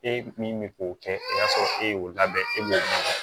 E min bɛ k'o kɛ i b'a sɔrɔ e y'o labɛn e b'o kɛ